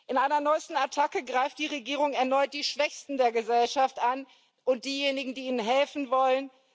In einer neuesten Attacke greift die Regierung erneut die Schwächsten der Gesellschaft an und diejenigen, die ihnen helfen wollen.